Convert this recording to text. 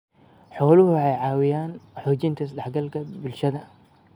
Xooluhu waxay caawiyaan xoojinta is-dhexgalka bulshada.